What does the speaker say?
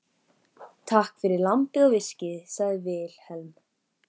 Takk fyrir lambið og viskíið, sagði Vilhelm.